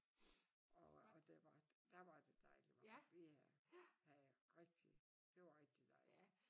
Og der var der var det dejlig varmt. Vi havde rigtig det var rigtig dejligt